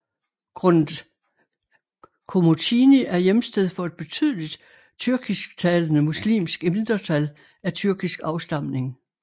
Komotini er hjemsted for et betydeligt tyrkisktalende muslimsk mindretal af tyrkisk afstamning